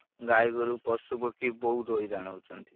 ଗାଈ ଗୋରୁ ପଶୁ ପକ୍ଷୀ ବହୁତ୍ ହଇରାଣ ହଉଛନ୍ତି।